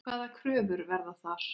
Hvaða kröfur verða þar?